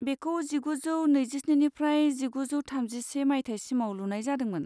बेखौ जिगुजौ नैजिस्निनिफ्राय जिगुजौ थामजिसे मायथाइसिमाव लुनाय जादोंमोन।